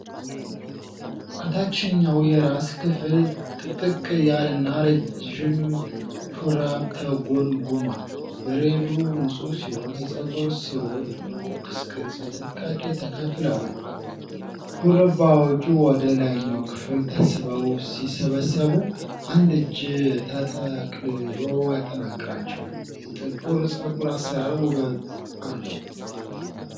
ከታችኛው የራስ ክፍል ጥቅጥቅ ያለና ረጅም ሹሩባ ተጎንጉኗል። ብሬዱ ንፁህ ሲሆን የፀጉር ሥሮች በቦክስ ቅርጽ በጥንቃቄ ተከፋፍለዋል። ሹሩባዎቹ ወደ ላይኛው ክፍል ተስበው ሲሰበሰቡ፣ አንድ እጅ ተጠቅልሎ ያጠናክራቸዋል። የጥቁር ፀጉር አሠራር ውበት አለው።